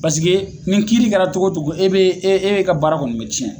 Paseke nin kiiri kɛra cogo o cogo e be ka baara kɔni bɛ cɛn.